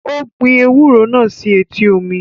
Ó gbin ewúro náà sí etí omi